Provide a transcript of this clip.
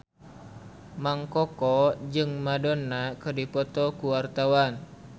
Mang Koko jeung Madonna keur dipoto ku wartawan